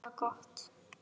Þær hafa það gott.